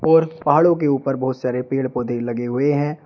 और पहाड़ों के ऊपर बहुत सारे पेड़ पौधे लगे हुए हैं।